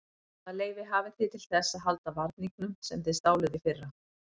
Hvaða leyfi hafið þið til þess að halda varningnum sem þið stáluð í fyrra?